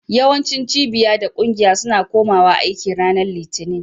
Yawancin cibiya da ƙungiya suna kumawa aiki ranar Litinin.